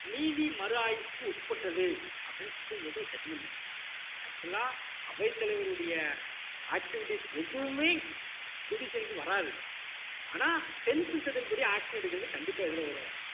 நீதி மறு ஆய்வுக்கு உட்பட்டது அப்படின்னு supreme court ஒரு judgement கொடுக்குறாங்க actual ஆ அவைத்தலைவருடைய activities எதுவுமே judicial க்கு வராது ஆனால் tenth schedule படி action எடுக்குறது கண்டிப்பா எதுல வரும்